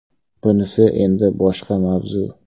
Bunisi endi boshqa mavzu .